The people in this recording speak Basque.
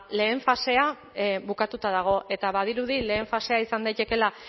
lehen fasea bukatuta dago eta badirudi lehen fasea izan daitekeela